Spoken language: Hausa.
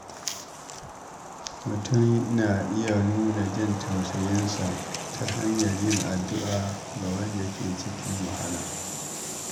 Mutum yana iya nuna jin tausayinsa ta hanyar yin addu’a ga wanda ke cikin wahala.